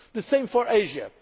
today. The same